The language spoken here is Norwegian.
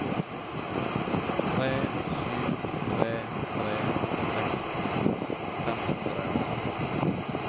tre sju tre tre seksten fem hundre og atten